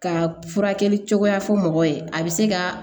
Ka furakɛli cogoya fɔ mɔgɔw ye a bɛ se ka